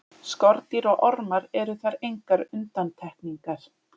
Skordýr og ormar eru þar engar undantekningar.